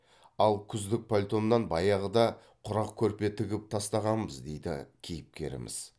ал күздік пальтомнан баяғыда құрақ көрпе тігіп тастағанбыз дейді кейіпкеріміз